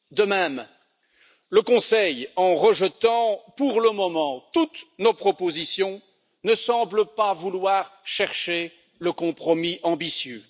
De même, le Conseil, en rejetant pour le moment toutes nos propositions, ne semble pas vouloir chercher le compromis ambitieux.